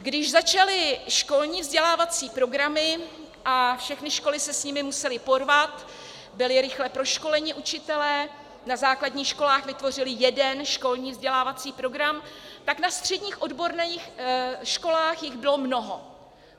Když začaly školní vzdělávací programy a všechny školy se s nimi musely porvat, byli rychle proškoleni učitelé, na základních školách vytvořili jeden školní vzdělávací program, tak na středních odborných školách jich bylo mnoho.